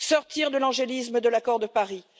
sortir de l'angélisme de l'accord de Paris